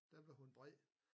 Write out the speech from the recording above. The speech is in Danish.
Der blev hun vred